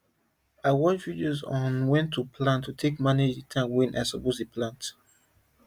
i watch video on when to plant to take manage the time wey i suppose dey plant